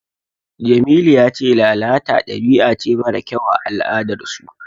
Jamilu ya ce lalata dabi'a ce mara kyau a al'adarsu.